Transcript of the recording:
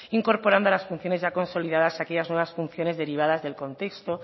incorporando a las funciones ya consolidadas aquellas nuevas funciones derivadas del contexto